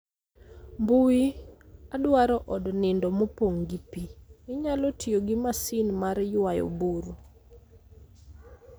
mbui, adwaro od nindo mopong' gi pi. Inyalo tiyo gi masin mar ywayo buru